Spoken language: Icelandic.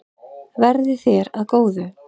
Verði þér að góðu.